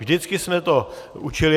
Vždycky jsme to učili.